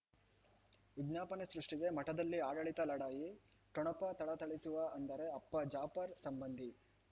ವಿಜ್ಞಾಪನೆ ಸೃಷ್ಟಿಗೆ ಮಠದಲ್ಲಿ ಆಡಳಿತ ಲಢಾಯಿ ಠೊಣಪ ಥಳಥಳಿಸುವ ಅಂದರೆ ಅಪ್ಪ ಜಾಪರ್ ಸಂಬಂಧಿ